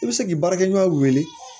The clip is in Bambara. I bɛ se k'i baarakɛɲɔgɔn wele